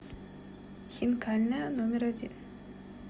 хинкальная номер один